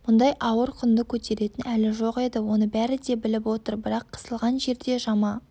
мұндай ауыр құнды көтеретін әлі жоқ еді оны бәрі де біліп отыр бірақ қысылған жерде жама